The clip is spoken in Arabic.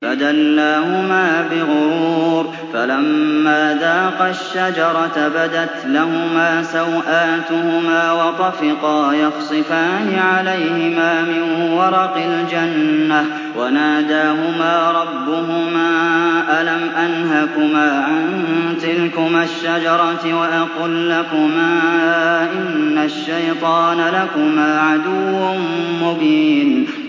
فَدَلَّاهُمَا بِغُرُورٍ ۚ فَلَمَّا ذَاقَا الشَّجَرَةَ بَدَتْ لَهُمَا سَوْآتُهُمَا وَطَفِقَا يَخْصِفَانِ عَلَيْهِمَا مِن وَرَقِ الْجَنَّةِ ۖ وَنَادَاهُمَا رَبُّهُمَا أَلَمْ أَنْهَكُمَا عَن تِلْكُمَا الشَّجَرَةِ وَأَقُل لَّكُمَا إِنَّ الشَّيْطَانَ لَكُمَا عَدُوٌّ مُّبِينٌ